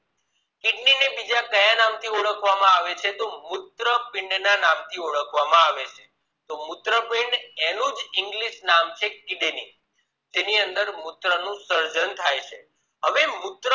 કયા નામ થી ઓળખવા માં આવે છે તો મૂત્રપીંડ ના નામ થી ઓળખવામાં આવે છે તો મૂત્રપીંડ એનું જ english નામ છે kidney જેની અંદર મૂત્ર નું સર્જન થાય છે હવે મૂત્ર